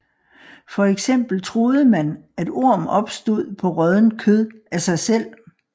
For eksempel troede man at orm opstod på råddent kød af sig selv